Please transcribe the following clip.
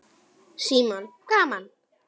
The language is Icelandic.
Símon: Gaman?